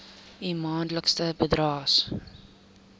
u maandelikse bydraes